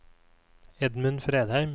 Edmund Fredheim